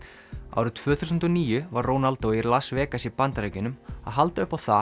árið tvö þúsund og níu var Ronaldo í Las Vegas í Bandaríkjunum að halda upp á það